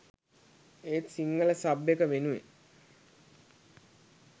ඒත් සිංහල සබ් එක වෙනුවෙන්